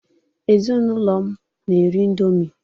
Ezinụlọ m na-eri indomi